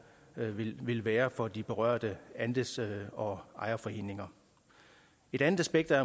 vil være for de berørte andels og ejerforeninger et andet aspekt er